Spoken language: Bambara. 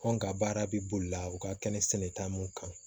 Anw ka baara bɛ boli la u ka kɛnɛ sɛnɛta mun kan